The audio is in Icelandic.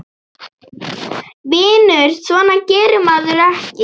Vinur, svona gerir maður ekki!